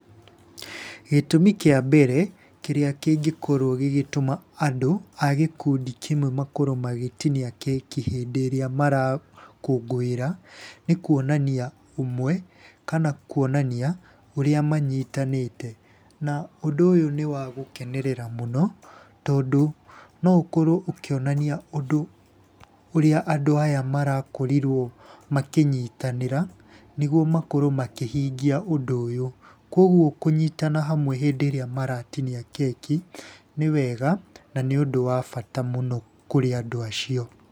Gĩtũmi kĩa mbere kĩrĩa kĩngĩkorwo gĩgĩtũma andũ a gĩkundi kĩmwe makorwo magĩtinia keki hĩndĩ ĩrĩa marakũngũĩra, nĩ kuonania ũmwe, kana kuonania ũrĩa manyitanĩte. Na ũndũ ũyũ nĩ wa gũkenerera mũno, tondũ no ũkorwo ũkĩonania ũndũ ũrĩa andũ aya marakorirwo makĩnyitanĩra nĩguo makorwo makĩhinngia ũndũ ũyũ. Koguo kũnyitana hamwe hĩndĩ ĩrĩa maratinia keki nĩ wega na nĩ ũndũ wa bata mũno kũrĩ andũ acio.